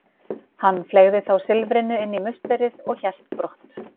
Hann fleygði þá silfrinu inn í musterið og hélt brott.